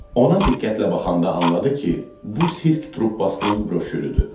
Ona diqqətlə baxanda anladı ki, bu sirk truppasının broşürüdür.